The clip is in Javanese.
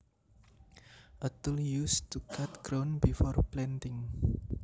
A tool used to cut ground before planting